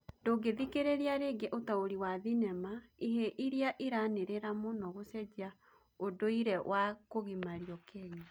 Ndũngĩ thikĩrĩria rĩngĩ ũtaũri wa thinema ihĩĩ iria iranĩrĩra mũno gũcenjia ũndũirĩ was kũgimario Kenya